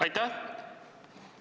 Aitäh!